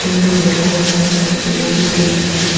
In দেখা যাচ্ছে বটি রয়েছে।